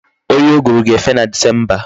Oyi uguru ga-efe na disemba.